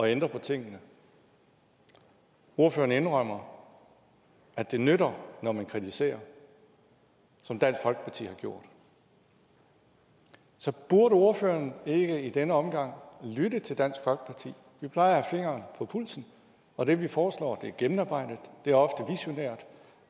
ændre på tingene ordføreren indrømmer at det nytter når man kritiserer som dansk folkeparti har gjort så burde ordføreren ikke i denne omgang lytte til dansk folkeparti vi plejer at have på pulsen og det vi foreslår er gennemarbejdet det er ofte visionært